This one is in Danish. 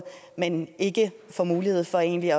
men ikke får mulighed for egentlig